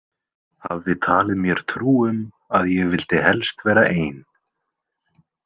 Hafði talið mér trú um að ég vildi helst vera ein.